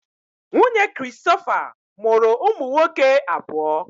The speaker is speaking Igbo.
Nwunye Christopher mụrụ ụmụ nwoke abụọ.